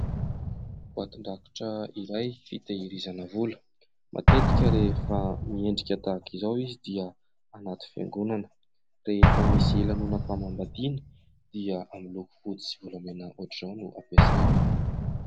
Boatin-drakitra fitahirizana vola, matetika rehefa miendrika tahaka izao izy dia anaty fiangonana. Rehefa misy lanonam-panambadiana dia ny loko fotsy volamena ohatra izao no ampiasaina.